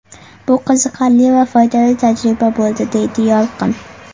Bu qiziqarli va foydali tajriba bo‘ldi, deydi Yolqin.